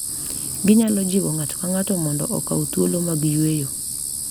Ginyalo jiwo ng’ato ka ng’ato mondo okaw thuolo mag yweyo,